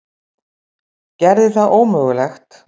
Gerði það ómögulegt.